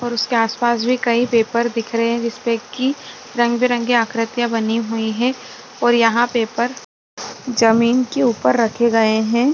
और उसके आसपास भी कई पेपर दिख रहे हैं जिसपे की रंग बिरंगी आकृतियां बनी हुई हैं और यहां पेपर जमीन के ऊपर रखे गए हैं।